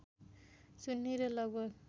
सुन्नी र लगभग